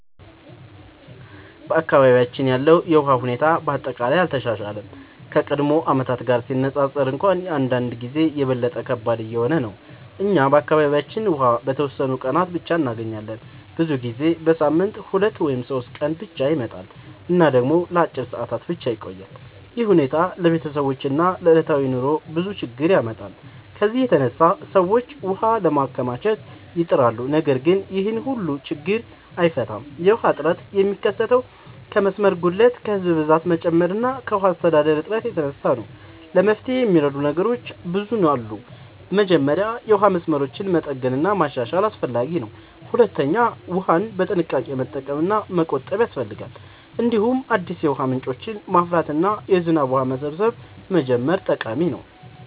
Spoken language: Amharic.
በአካባቢያችን ያለው የውሃ ሁኔታ በአጠቃላይ አልተሻሻለም፤ ከቀድሞ ዓመታት ጋር ሲነፃፀር እንኳን አንዳንድ ጊዜ የበለጠ ከባድ እየሆነ ነው። እኛ በአካባቢያችን ውሃ በተወሰኑ ቀናት ብቻ እንገኛለን፤ ብዙ ጊዜ በሳምንት 2 ወይም 3 ቀን ብቻ ይመጣል እና ደግሞ ለአጭር ሰዓታት ብቻ ይቆያል። ይህ ሁኔታ ለቤተሰቦች እና ለዕለታዊ ኑሮ ብዙ ችግኝ ያመጣል። ከዚህ የተነሳ ሰዎች ውሃ ለማከማቸት ይጥራሉ፣ ነገር ግን ይህም ሁሉን ችግኝ አይፈታም። የውሃ እጥረት የሚከሰተው ከመስመር ጉድለት፣ ከህዝብ ብዛት መጨመር እና ከውሃ አስተዳደር እጥረት የተነሳ ነው። ለመፍትሄ የሚረዱ ነገሮች ብዙ አሉ። መጀመሪያ የውሃ መስመሮችን መጠገን እና ማሻሻል አስፈላጊ ነው። ሁለተኛ ውሃን በጥንቃቄ መጠቀም እና መቆጠብ ያስፈልጋል። እንዲሁም አዲስ የውሃ ምንጮችን ማፍራት እና የዝናብ ውሃ መሰብሰብ መጀመር ጠቃሚ ነው።